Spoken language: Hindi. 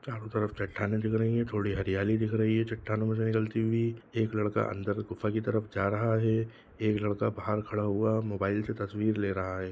चारो तरफ चट्टानें दिख रही है थोड़ी हरयाली दिख रही है चट्टानो में से निकलती हुई एक लड़का अंदर गुफा की तरफ जा रहा है एक लड़का बाहर खड़ा हुआ है मोबाइल से तस्वीर ले रहा है।